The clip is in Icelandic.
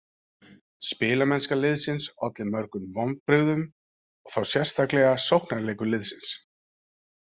Spilamennska liðsins olli mörgum vonbrigðum og þá sérstaklega sóknarleikur liðsins.